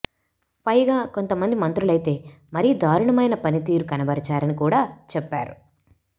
పైగా కొంతమంది మంత్రులైతే మరీ దారుణమైన పనితీరు కనబరిచారని కూడా చెప్పారు